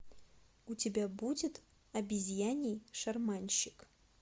у тебя будет обезьяний шарманщик